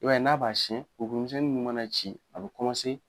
I b'a ye n'a b'a siyɛn kurukuru misɛnin mana ci a bɛ